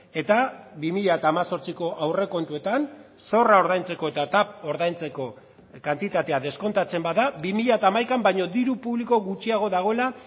eta bi mila hemezortziko aurrekontuetan zorra ordaintzeko eta tav ordaintzeko kantitatea deskontatzen bada bi mila hamaikaan baino diru publiko gutxiago dagoela